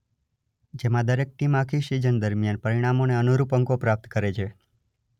જેમાં દરેક ટીમ આખી સિઝન દરમિયાન પરિણામોને અનુરૂપ અંકો પ્રાપ્ત કરે છે.